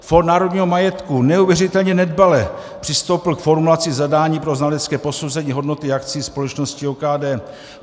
Fond národního majetku neuvěřitelně nedbale přistoupil k formulaci zadání pro znalecké posouzení hodnoty akcií společnosti OKD.